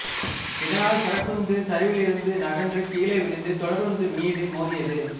இதனால் சரக்குந்து சரிவிலிருந்து நகன்று கீழே விழுந்து தொடருந்து மீது மோதியது